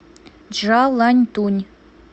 чжаланьтунь